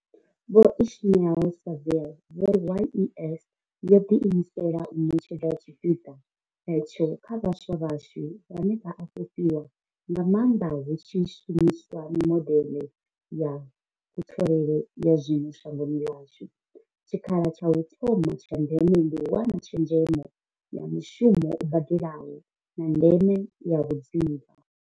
Vho Ismail-Saville vho ri, YES yo ḓiimisela u ṋetshedza tshipiḓa hetsho kha vhaswa vhashu, vhane vha a fhufhiwa nga maanḓa hu tshi shumiswa mimodeḽe ya kutholele ya zwino shangoni ḽashu, tshikhala tsha u thoma tsha ndeme ndi u wana tshezhemo ya mushumo u badelaho, na ndeme ya vhudzivha.